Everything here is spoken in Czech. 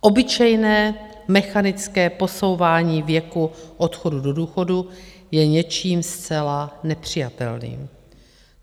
Obyčejné mechanické posouvání věku odchodu do důchodu je něčím zcela nepřijatelným.